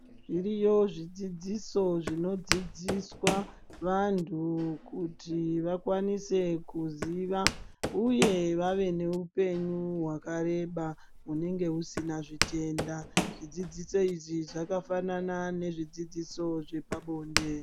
Zviriyo zvidzidziso zvinodzidziswa vantu kuti vakwanise kuziva ,uye vave neupenyu hwakareba hunenge husina zvitenda. Zvidzidziso izvi zvakafanana nezvidzidziso zvepabonde.